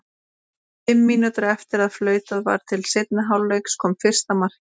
Fimm mínútum eftir að flautað var til seinni hálfleiks kom fyrsta markið.